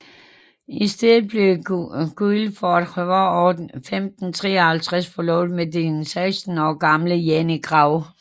I stedet blev Guildford i foråret 1553 forlovet med den seksten år gamle Jane Gray